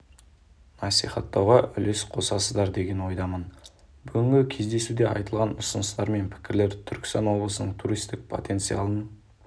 насихаттауға үлес қосасыздар деген ойдамын бүгінгі кездесуде айтылған ұсыныстар мен пікірлер түркістан облысының туристік потенциалын